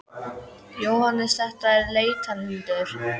Jóhannes: Þetta er leitarhundur?